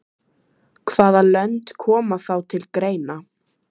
Heimir Már: Verður þú grimmur í stjórnarandstöðunni?